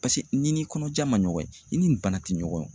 Paseke n'i ni kɔnɔja ma ɲɔgɔn ye i ni bana te ɲɔgɔn ye o.